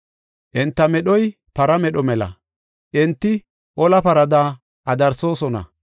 Enta medhoy para medho mela; enti ola parada adarsoosona.